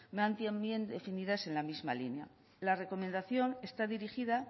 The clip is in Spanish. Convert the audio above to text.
definidas en la misma línea la recomendación está dirigida